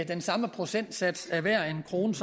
den samme procentsats af hver en krone